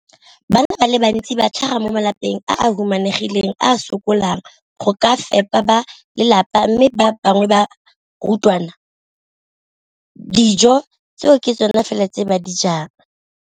Bana ba le bantsi ba tlhaga mo malapeng a a humanegileng a a sokolang go ka fepa ba lelapa mme ba bangwe ba barutwana, dijo tseo ke tsona fela tse ba di jang ka letsatsi.